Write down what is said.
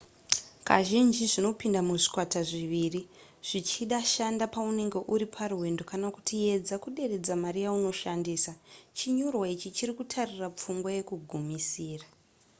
kazhinji zvinopinda muzvikwata zviviri zvichida shanda paunenge uri parwendo kana kuti edza kuderedza mari yaunoshandisa chinyorwa ichi chiri kutarira pfungwa yekugumisira